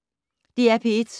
DR P1